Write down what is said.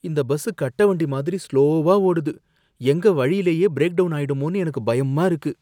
இந்த பஸ் கட்ட வண்டி மாதிரி ஸ்லோவா ஓடுது, எங்க வழியிலயே பிரேக்டவுன் ஆயிடுமோன்னு எனக்கு பயமா இருக்கு!